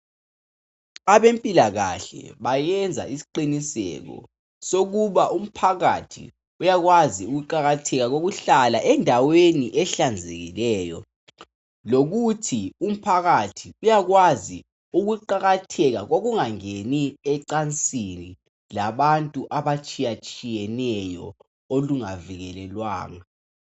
Abezimpilakahle bayenza isiqiniseko sokuba umphakathi kokuhlala endaweni ehlanzekileyo lokuthi umphakathi uyakwazi ukuqakatheka kokungangeni ecansini labantu abatshiyetshiyeneyo olungavikelelwanga.